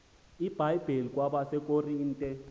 ibhayibhile kwabase korinte